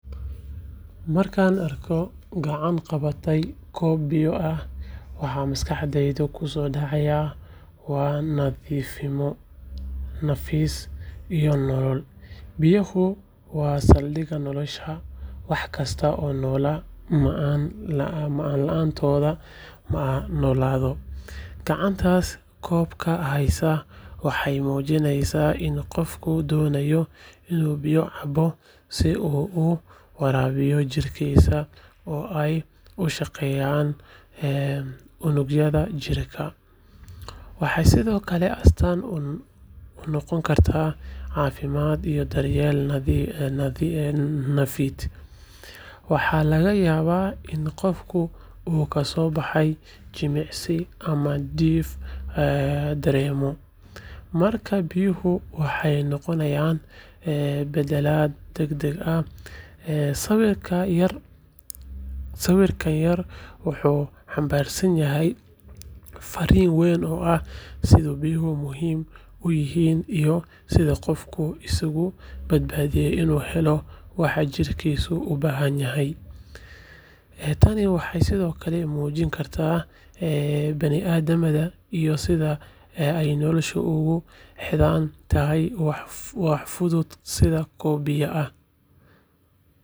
Markaad aragto gacan qabatay koob biyo ah, waxa maskaxda ku soo dhacaya waa nadiifnimo, nafis, iyo nolol. Biyaha waa saldhigga nolosha, wax kasta oo noolna ma’aan la’aantood ma noolaado. Gacantaas koobka haysa waxay muujinaysaa in qofku doonayo inuu biyo cabo si uu u waraabiyo jirkiisa oo ay u shaqeeyaan unugyada jirka. Waxay sidoo kale astaan u noqon kartaa caafimaad iyo daryeel nafeed. Waxaa laga yaabaa in qofka uu ka soo baxay jimicsi ama uu diif dareemayo, markaas biyuhu waxay noqonayaan badbaado degdeg ah. Sawirkan yar wuxuu xambaarsan yahay farriin weyn oo ah sida biyuhu muhiim u yihiin iyo sida qofku isugu dadaalayo inuu helo waxa jidhkiisu u baahan yahay. Tani waxay sidoo kale muujin kartaa bini’aadantinimada iyo sida ay noloshu ugu xidhan tahay wax fudud sida koob biyo ah.